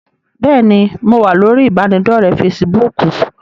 Bẹ́ẹ̀ni, mo wá lórí ibanidọ̀rẹ́ "Fésííbùùkù".